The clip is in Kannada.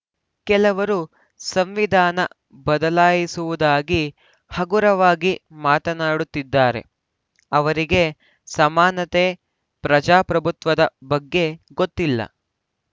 ಕೆಲವರು ಸಂವಿಧಾನ ಬದಲಾಯಿಸುವುದಾಗಿ ಹಗುರವಾಗಿ ಮಾತನಾಡುತ್ತಿದ್ದಾರೆ ಅವರಿಗೆ ಸಮಾನತೆ ಪ್ರಜಾಪ್ರಭುತ್ವದ ಬಗ್ಗೆ ಗೊತ್ತಿಲ್ಲ